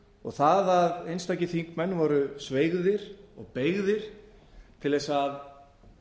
og það að einstakir þingmenn voru sveigðir og beygðir til þess að